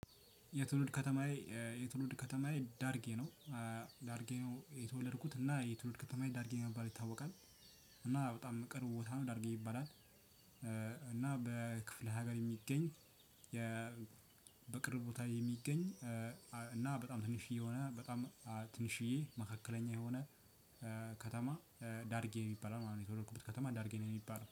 የትውልድ ከተማዬ የትውልድ ከተማዬ ዳርጌ ነው ዳርጌ ነው። የተወለድኩት እና የትውልድ ከተማዬ ዳርጌ በመባል ይታወቃል። እና በጣም ቅርብ ቦታ ነው ዳርጌ ይባላል። እና በክፍለ ሀገር የሚገኝ በቅርብ ቦታ የሚገኝ እና በጣም ቲንሽዬ የሆነ በጣም ቲንሽዬ መካከለኛ የሆነ ከተማ ዳርጌ ይባላል ማለት ነው የተወለድኩበት ከተማ ዳርጌ ነው። ሚባለው